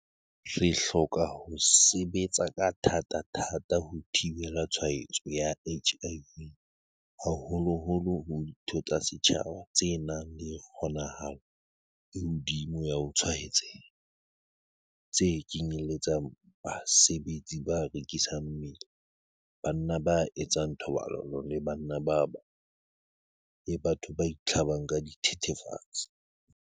Re hloka ho sebetsa ka thatathata ho thibela tshwaetso ya HIV haholoholo ho ditho tsa setjhaba tse nang le kgonahalo e hodimo ya ho tshwaetseha, tse kenyeletsang basebetsi ba rekisang mmele, banna ba etsang thobalano le banna ba bang, le batho ba itlhabang ka dithethefatsi.